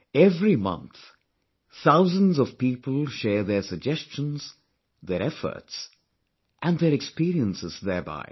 Every month, thousands of people share their suggestions, their efforts, and their experiences thereby